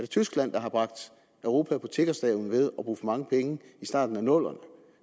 tyskland der har bragt europa på tiggerstaven ved at bruge for mange penge i starten af nullerne